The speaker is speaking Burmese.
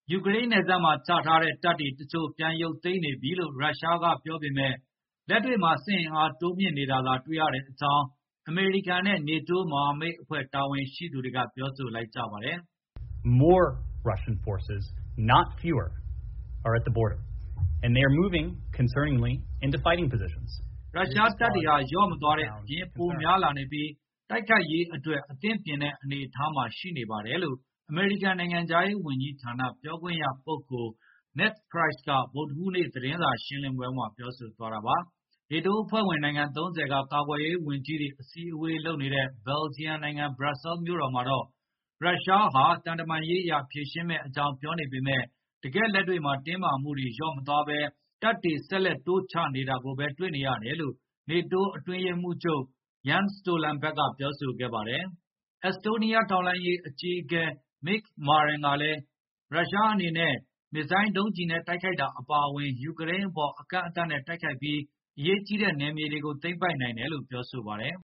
ယူကရိန်းနယ်စပ်မှာ ချထားတဲ့တပ်တချို့ကို ပြန်ရုပ်သိမ်းနေပြီလို့ ရုရှားကပြောပေမဲ့ လက်တွေ့မှာ စစ်အင်အား တိုးမြှင့်နေတာသာ တွေ့နေရကြောင်း အမေရိကန်နဲ့ NATO မဟာမိတ်အဖွဲ့ တာဝန်ရှိသူတွေက ပြောဆိုလိုက်ကြပါတယ်။ “ရုရှားတပ်တွေဟာ လျော့မသွားတဲ့အပြင်၊ ပိုများလာနေပြီး၊ တိုက်ခိုက်ရေးအတွက် အသင့်ပြင်တဲ့ အနေအထားမှာ ရှိနေတယ်။” အမေရိကန်နိုင်ငံခြားရေး ဝန်ကြီးဌာနပြောခွင့်ရပုဂ္ဂိုလ် Ned Price က ဗုဒ္ဓဟူးနေ့ သတင်းစာရှင်းလင်းပွဲမှာ ပြောဆိုသွား တာပါ။ NATO အဖွဲ့ဝင်နိုင်ငံ ၃ဝ က ကာကွယ်ရေးဝန်ကြီးတွေ အစည်းအဝေးလုပ်နေတဲ့ ဘယ်လ်ဂျီယံနိုင်ငံ ဘရပ်ဆဲမြို့တော်မှာတော့ ရုရှားဟာ သံတမန်ရေးအရ ဖြေရှင်းမယ့်အကြောင်း ပြောနေပေမဲ့ တကယ်လက်တွေ့မှာတင်းမာမှုတွေလျော့မသွားဘဲ၊ တပ်တွေ ဆက်လက်တိုးချနေတာကိုဘဲတွေ့နေရတယ်လို့ NATO အတွင်းရေးမှုးချုပ် Jens Stoltenberg ကပြောဆိုခဲ့ပါတယ်။ အက်စတိုးနီးယားထောက်လှမ်းရေးအကြီးအကဲ Mikk Marran ကလည်း ရုရှားအနေနဲ့ မစ်ဇိုင်းဒုံးနဲ့ တိုက်ခိုက်တာအပါအဝင်၊ ယူကရိန်းအပေါ် အကန့်အသတ်နဲ့ တိုက်ခိုက်ပြီး အရေးကြီးတဲ့ နယ်မြေတွေကို သိမ်းပိုက်နိုင်တယ်လို့ ပြောပါတယ်။